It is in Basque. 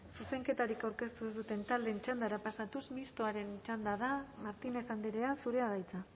zuzenketarik aurkeztu ez duten taldeen txandara pasatuz mistoaren txanda martínez andrea zurea da hitza